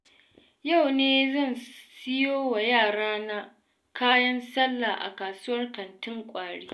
Yau ne zan siyo wa yarana kayan sallah, a kasuwar kantin kwari.